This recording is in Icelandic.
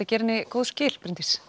gera henni góð skil